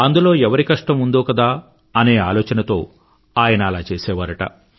అందులో ఎవరి కష్టం ఉందో కదా అనే ఆలోచనతో అలా చేసేవారుట